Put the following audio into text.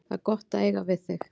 Það er gott að eiga þig að.